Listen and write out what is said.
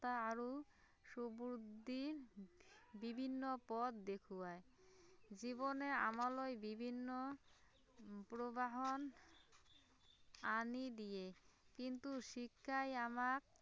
আৰু সুবুদ্ধি বিভিন্ন পথ দেখুৱায়, জীৱনে আমালৈ বিভিন্ন উম প্ৰবাহন, আনি দিয়ে কিন্তু শিক্ষাই আমাক